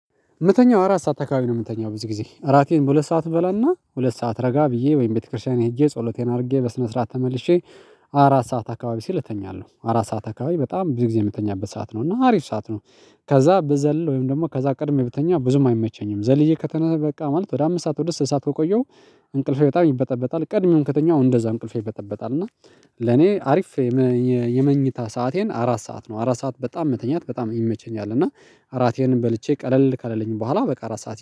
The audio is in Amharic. የምተኛው አራት ሰዓት አካባቢ ነው የምተኛው ብዙ ጊዜ እራቴን በሁለት ሰዓት በላና ሁለት ሰዓት ረጋ ብዬ ወይም ቤተክርስቲያን ሄጄ ጸሎቴን አድርጌ በስነ ስርዓት ተመልሼ። አራት ሰዓት አካባቢ ሲል እተኛለሁ አራት ሰዓት አካባቢ በጣም ብዙ ጊዜ የምተኛበት ሰዓት ነው እና አሪፍ ሰዓት ነው። ከዛ በዘለለ ወይም ደግሞ ከዛ ቀድሜ ብተኛ ብዙም አይመቸኝም ዘልዬ ከተነሰ በቃ ማለት ወደ አምስት ሰዓት ወደ ስድስት ሰዓት ከቆየው። እንቅልፌ በጣም ይበጠበጣል ቀድሜም ከተኛው እንደዛ እንቅልፌ ይበጠበጣል እና። ለኔ አሪፍ። የመኝታ ሰአቴን አራት ሰዓት ነው። አራት ሰዓት በጣም መተኛት በጣም ይመቸኛል እና አራቴንም በልቼ ቀለል ካለለኝ በኋላ በቃ አራት ሰዓት